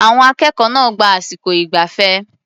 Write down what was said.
Àwọn akẹ́kọ̀ọ́ náà gba àsìkò ìgbafẹ́.